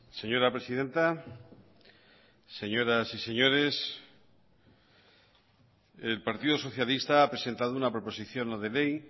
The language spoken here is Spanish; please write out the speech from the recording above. señora presidenta señoras y señores el partido socialista ha presentado una proposición no de ley